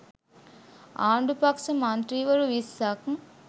ආණ්ඩු පක්ෂ මන්ත්‍රීවරු විස්සක්